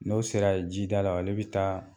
N'o sera jida la ale bɛ taa